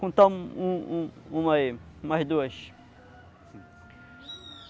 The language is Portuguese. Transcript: Vou contar um um uma aí, umas umas duas.